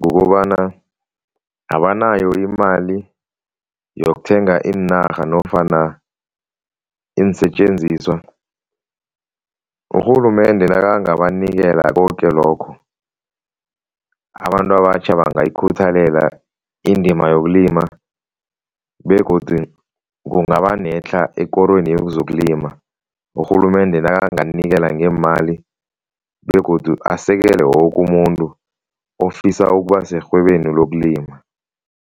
kukobana abanayo imali yokuthenga iinarha nofana iinsetjenziswa. Urhulumende nakangabanikela koke lokho, abantu abatjha bangayikhuthalela indima yokulima begodu kungaba netlha ekorweni yezokulima, urhulumende nakanganikela ngeemali begodu asekele woke umuntu ofisa ukuba serhwebeni lokulima.